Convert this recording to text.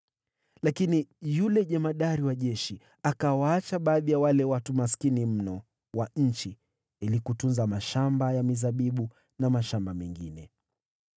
Lakini yule jemadari wa askari walinzi akawaacha baadhi ya wale watu maskini kabisa ili watunze mashamba ya mizabibu na mashamba mengine.